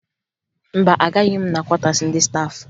Mba, agaghị m na kwọtaasi ndị staafụ